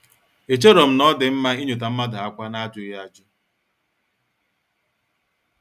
Echerom na-odi mma inyota mmadụ ákwá n'ajughi ajụ.